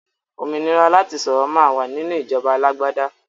Òmìnira láti sọ̀rọ̀ máa wà nínú ìjọba alágbàdá